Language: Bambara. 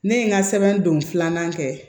Ne ye n ka sɛbɛn don filanan kɛ